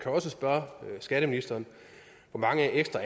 også spørge skatteministeren hvor mange ekstra